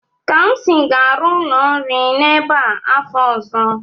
Kamsi ga-arụ ụlọ nri n'ebe a afọ ọzọ.